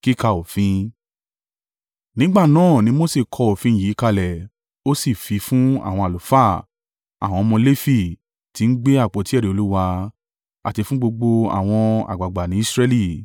Nígbà náà ni Mose kọ òfin yìí kalẹ̀ ó sì fi fún àwọn àlùfáà, àwọn ọmọ Lefi, tí ń gbé àpótí ẹ̀rí Olúwa, àti fún gbogbo àwọn àgbàgbà ní Israẹli.